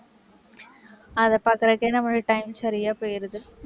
அதை பாக்கறதுக்கு, நம்மளுக்கு time சரியா போயிடுது.